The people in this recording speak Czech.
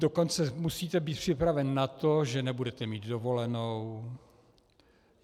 Dokonce musíte být připraven na to, že nebudete mít dovolenou.